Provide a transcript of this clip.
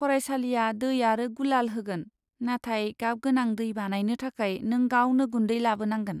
फरायसालिआ दै आरो गुलाल होगोन, नाथाय गाबगोनां दै बानायनो थाखाय नों गावनो गुन्दै लाबोनांगोन।